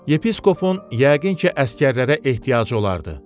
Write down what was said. Yepiskopun yəqin ki əsgərlərə ehtiyacı olardı.